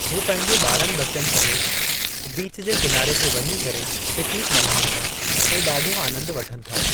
हू पंहिंजे ॿारनि ॿचनि समेत वञीं करे बीच जे किनारे ते वञी करे पिकनिक मल्हाइनि था ऐं ॾाढो आनंद वठनि था।